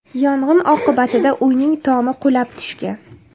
Yong‘in oqibatida uyning tomi qulab tushgan.